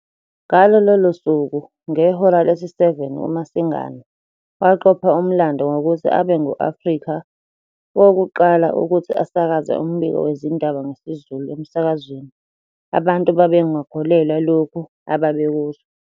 Ngalo lolo suku ngehora lesi-7 uMasinga waqopha umlando ngokuthi abe ngu-Afrika wokuqala ukuthi asakaze umbiko wezindaba ngesiZulu emsakazweni abantu babengakukholwa lokhu ababekuzwa.